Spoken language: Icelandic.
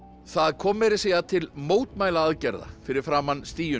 það kom meira að segja til mótmælaaðgerða fyrir framan